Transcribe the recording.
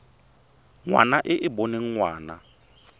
ngwana e e boneng ngwana